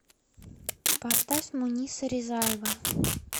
поставь муниса ризаева